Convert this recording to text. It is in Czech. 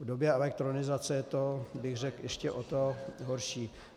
V době elektronizace je to, řekl bych, ještě o to horší.